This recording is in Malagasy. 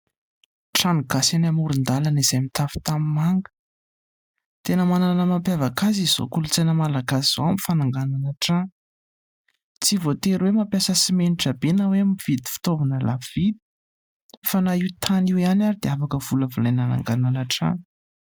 Trano gasy any amoron-dalana izay mitafy tany manga. Dia manana ny mampiavaka azy izao kolontsaina malagasy izao amin'ny fananganana trano. Tsy voa tery hoe mampiasa simenitra be na hoe mividy fitaovana lafo vidy, fa naha io tany io ihany ary dia afaka volavolaina ananganana trano.